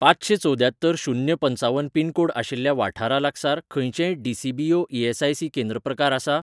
पांचशें चवद्यात्तर शून्य पंचावन पिन कोड आशिल्ल्या वाठारा लागसार खंयचेंय डी.सी.बी.ओ. ई.एस.आय.सी.केंद्र प्रकार आसा ?